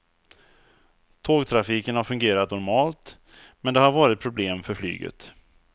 Tågtrafiken har fungerat normalt, men det har varit problem för flyget.